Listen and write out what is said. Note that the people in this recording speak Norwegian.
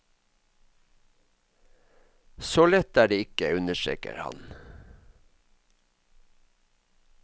Så lett er det ikke, understreker han.